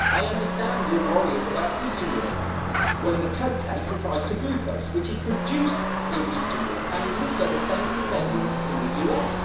I understand that your worry is about Eastern Europe. Well, in the Coke case, it is isoglucose, which is produced in Eastern Europe and is also the same thing they use in the US.